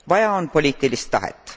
Vaja on poliitilist tahet.